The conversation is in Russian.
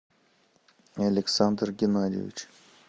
александр геннадьевич